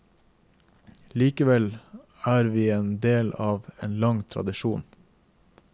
Likevel er vi en del av en lang tradisjon.